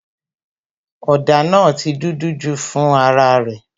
òdà naa ti dúdú ju fún ara rè